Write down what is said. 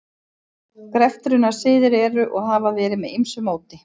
Greftrunarsiðir eru og hafa verið með ýmsu móti.